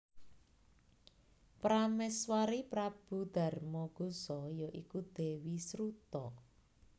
Pramèswari Prabu Darmagosa ya iku Dèwi Sruta